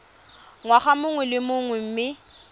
ngwaga mongwe le mongwe mme